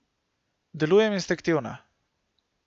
Delujem instinktivno.